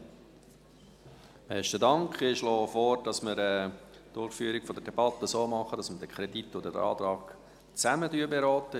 Ich schlage vor, dass wir die Debatte so durchführen, dass wir den Kredit und den Antrag zusammen beraten.